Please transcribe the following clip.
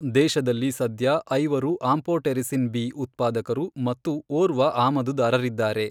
ದೇಶದಲ್ಲಿ ಸದ್ಯ ಐವರು ಆಂಫೊಟೆರಿಸಿನ್ ಬಿ ಉತ್ಪಾದಕರು ಮತ್ತು ಓರ್ವ ಆಮದುದಾರರಿದ್ದಾರೆ.